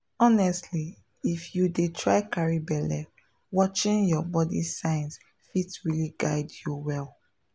honestly if you dey try carry belle watching your body signs fit really guide you well.